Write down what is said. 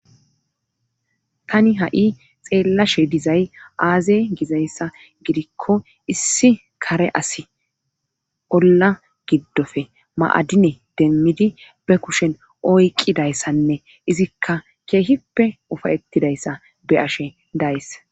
Tani ha7i xeellashe dizay aazey gizayssa gidikko issi kare asi olla giddofe maadine demmidi be kushen oyqqidayssanne izikka keehippe ufayettidayssa be ashe days.